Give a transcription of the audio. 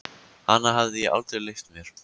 Hana hafði ég aldrei leyft mér.